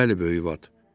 Bəli, Böyük Vat.